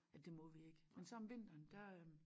At det må vi ik men så om vinteren der